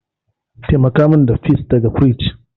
Taimaka min da peas daga firij.